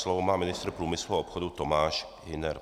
Slovo má ministr průmyslu a obchodu Tomáš Hüner.